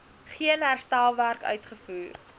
geen herstelwerk uitgevoer